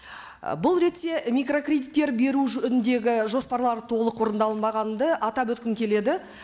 і бұл ретте микрокредиттер беру жөніндегі жоспарлар толық орындалынбағанды атап өткім келеді